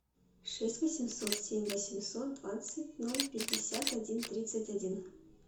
шесть восемьсот семь восемьсот двадцать ноль пятьдесят один тридцать один